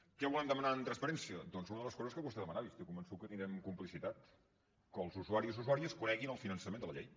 què volem demanar amb transparència doncs una de les coses que vostè demanava i estic convençut que tindrem complicitat que els usuaris i usuàries coneguin el finançament de la llei